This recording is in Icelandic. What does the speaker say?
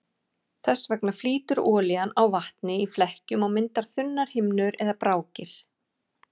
Þess vegna flýtur olían á vatni í flekkjum og myndar þunnar himnur eða brákir.